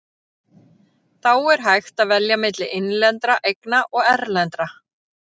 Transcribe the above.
Þá er hægt að velja milli innlendra eigna og erlendra.